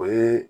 O ye